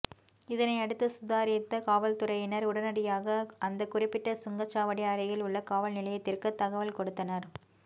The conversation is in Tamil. இதனை அடுத்து சுதாரித்த காவல்துறையினர் உடனடியாக அந்த குறிப்பிட்ட சுங்கச் சாவடி அருகில் உள்ள காவல் நிலையத்திற்கு தகவல் கொடுத்தனர்